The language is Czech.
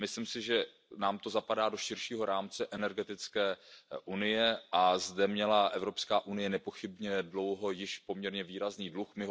Myslím si, že nám to zapadá do širšího rámce energetické unie, a zde měla Evropská unie již nepochybně dlouho poměrně výrazný dluh.